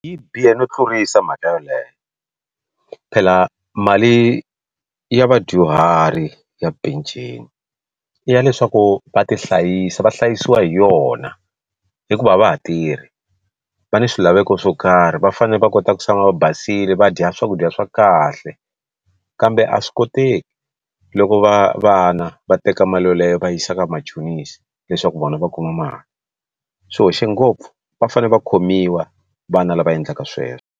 Yi bihe no tlurisa mhaka yeleyo phela mali ya vadyuhari ya penceni i ya leswaku va tihlayisa va hlayisiwa hi yona hikuva a va ha tirhi va ni swilaveko swo karhi va fanele va kota ku tshama va basile va dya swakudya swa kahle kambe a swi koteki loko va vana va teka mali yoleyo va yisa ka vamachonisi leswaku vona va kuma mali swi hoxe ngopfu va fanele va khomiwa vana lava endlaka sweswo.